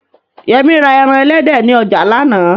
Yẹmí ra ẹran elédè ni ọjà lánàá